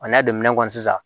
A n'a don minɛn kɔnɔ sisan